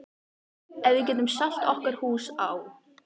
Ef við getum selt okkar hús á